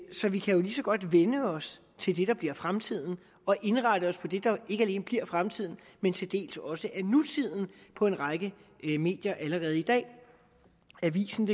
så vi kan jo lige så godt vænne os til det der bliver fremtiden og indrette os på det der ikke alene bliver fremtiden men til dels også er nutiden på en række medier allerede i dag avisendk